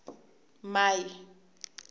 mai